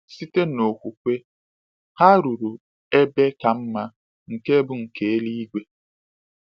Site n’okwukwe, ha “ruru ebe ka mma, nke bụ nke eluigwe.”